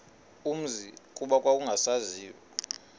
umzi kuba kwakungasaziwa